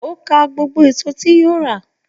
O kà gbogbo èso yí o ra.